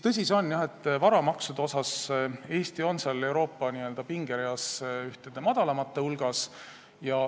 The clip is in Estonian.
Tõsi see on, et varamaksude poolest on Eesti Euroopa pingereas nende riikide hulgas, kus need maksud on madalad.